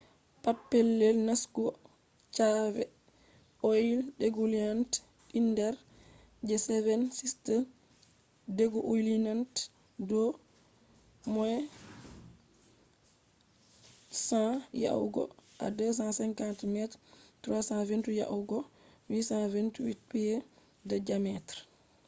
pat pellel nastugo cave mai ɗo mari inder the seven sisters” ɗo mari a qalla 100 yahugo 250 meters 328 yahugo 820 feet je diameter